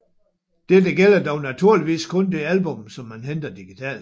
Dette gælder dog naturligvis kun det album som man henter digitalt